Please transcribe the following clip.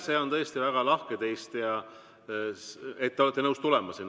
See on tõesti väga lahke teist, et te olete nõus sinna tulema.